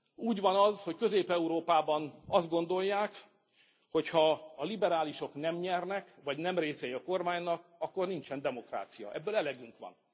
Úgy van az, hogy Közép Európában azt gondolják, hogy ha a liberálisok nem nyernek, vagy nem részei a kormánynak, akkor nincsen demokrácia. Ebből elegünk van.